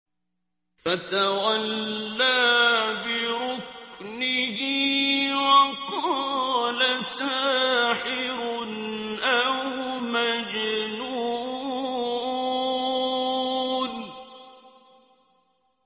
فَتَوَلَّىٰ بِرُكْنِهِ وَقَالَ سَاحِرٌ أَوْ مَجْنُونٌ